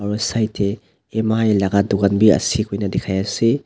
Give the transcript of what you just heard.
side teh M_I laga dukan be ase koina dikhai ase.